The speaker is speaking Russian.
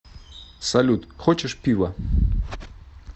салют хочешь пива